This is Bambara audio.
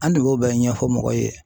An de b'o bɛɛ ɲɛfɔ mɔgɔ ye.